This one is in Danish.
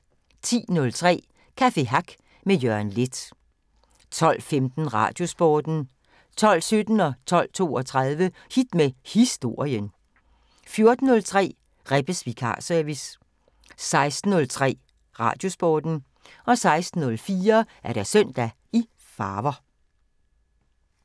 10:03: Café Hack med Jørgen Leth 12:15: Radiosporten 12:17: Hit med Historien 12:32: Hit med Historien 14:03: Rebbes Vikarservice 16:03: Radiosporten 16:04: Søndag i farver